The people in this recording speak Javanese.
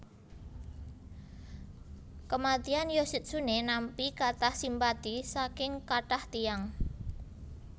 Kematian Yoshitsune nampi katah simpati saking katah tiyang